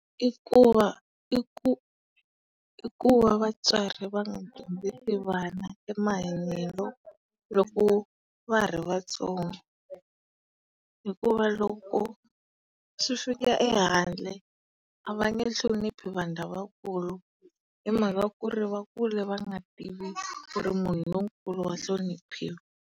I kuva i ku i ku va vatswari va nga vana e mahanyelo loko va ha ri vatsongo. Hikuva loko swi fika ehandle, a va nge hloniphi vanhu lavakulu hi mhaka ku ri va kule va nga tivi ku ri munhu lonkulu wa hloniphiwa.